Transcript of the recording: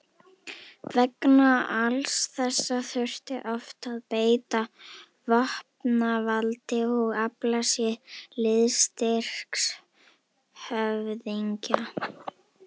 Vegna alls þessa þurfti oft að beita vopnavaldi og afla sér liðstyrks höfðingja.